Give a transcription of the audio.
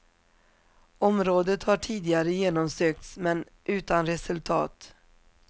Området har tidigare genomsökts men utan resultat.